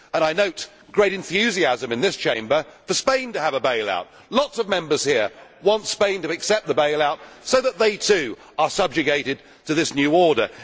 I note great enthusiasm in this Chamber for Spain to have a bailout lots of Members here want Spain to accept the bailout, so that they too are subjugated to this new order.